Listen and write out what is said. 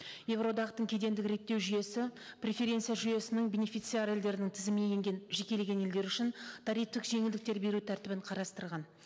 еуроодақтың кедендік реттеу жүйесі преференция жүйесінің бенефициар елдерінің тізіміне енген жекелеген елдер үшін тарифтық жеңілдіктер беру тәртібін қарастырған